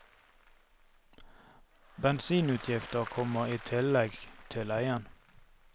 Bensinutgifter kommer i tillegg til leien.